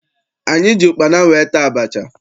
Anyị ji ụkpana wee taa abacha.